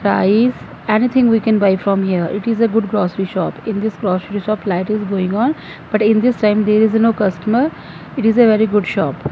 rice anything we can buy from here it is a good grocery shop in this grocery shop flat is going on but in this time there is no customer it is a very good shop.